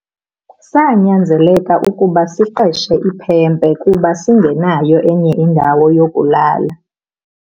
Sanyanzeleka ukuba siqeshe iphempe kuba singenayo enye indawo yokulala.